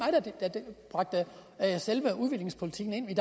der bragte selve udviklingspolitikken ind i